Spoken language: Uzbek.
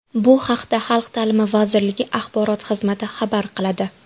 Bu haqda Xalq ta’limi vazirligi axborot xizmati xabar qiladi .